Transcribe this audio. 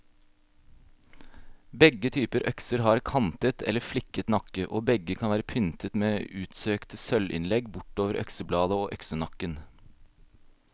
Begge typer økser har kantet eller fliket nakke, og begge kan være pyntet med utsøkte sølvinnlegg bortover øksebladet og øksenakken.